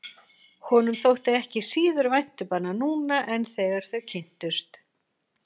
Honum þótti ekki síður vænt um hana núna en þegar þau kynntust.